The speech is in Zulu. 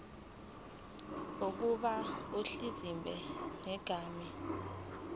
oqhuba ibhizinisi ngegama